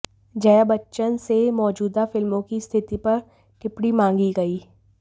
जया बच्चन से मौजूदा फिल्मों की स्थिति पर टिप्पणी मांगी गई